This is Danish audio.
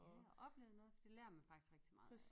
Ja og oplevet noget det lærer man faktisk rigtig meget af